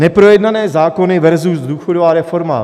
Neprojednané zákony versus důchodová reforma.